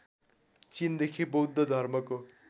चिनदेखि बौद्ध धर्मको